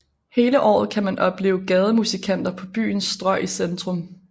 Hele året kan man opleve gademusikanter på byens strøg i centrum